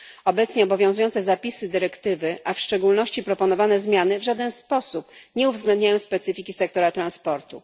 Obecnie obowiązujące zapisy dyrektywy, a w szczególności proponowane zmiany, w żaden sposób nie uwzględniają specyfiki sektora transportu.